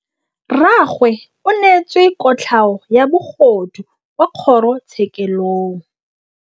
Rragwe o neetswe kotlhaô ya bogodu kwa kgoro tshêkêlông.